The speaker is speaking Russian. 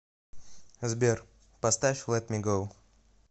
сбер поставь лэт ми гоу